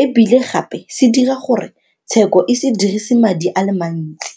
e bile gape se dira gore tsheko e se dirisi madi a le mantsi.